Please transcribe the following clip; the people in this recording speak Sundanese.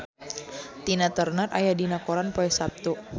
Tina Turner aya dina koran poe Saptu